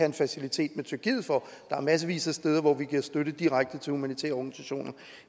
en facilitet med tyrkiet for der er massevis af steder hvor vi giver støtte direkte til humanitære organisationer